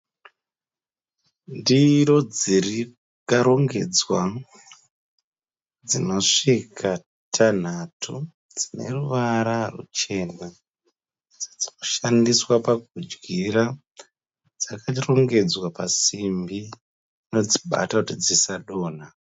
Ndiro dzakarongedzwa dzinosvika tanhatu dzine ruvara ruchena. Dzinoshandiswa pakudyira. Dzakarongedzwa pasimbi inodzibata kuti dzisadonha.